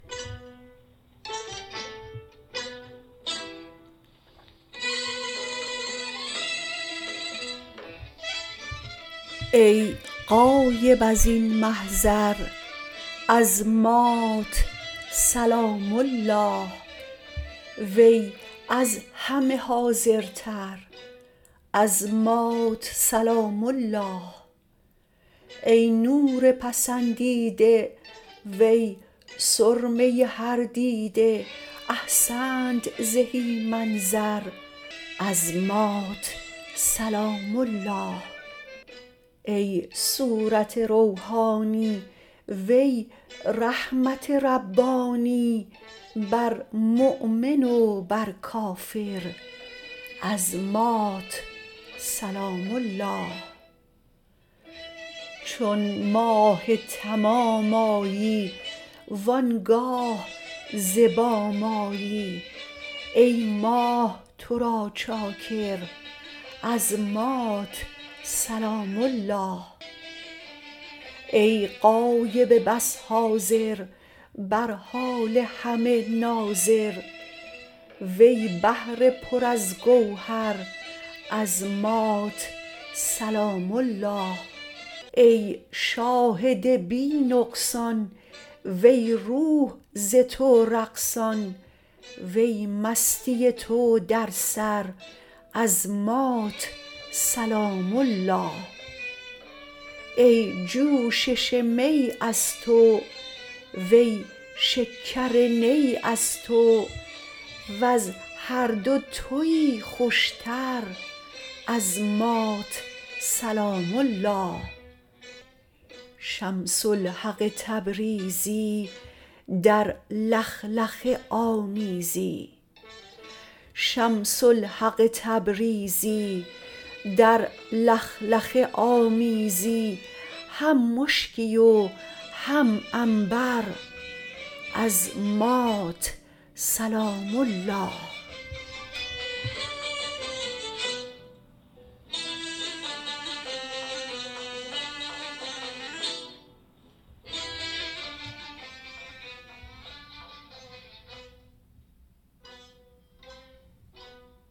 ای غایب از این محضر از مات سلام الله وی از همه حاضرتر از مات سلام الله ای نور پسندیده وی سرمه هر دیده احسنت زهی منظر از مات سلام الله ای صورت روحانی وی رحمت ربانی بر مؤمن و بر کافر از مات سلام الله چون ماه تمام آیی و آن گاه ز بام آیی ای ماه تو را چاکر از مات سلام الله ای غایب بس حاضر بر حال همه ناظر وی بحر پر از گوهر از مات سلام الله ای شاهد بی نقصان وی روح ز تو رقصان وی مستی تو در سر از مات سلام الله ای جوشش می از تو وی شکر نی از تو وز هر دو توی خوشتر از مات سلام الله شمس الحق تبریزی در لخلخه آمیزی هم مشکی و هم عنبر از مات سلام الله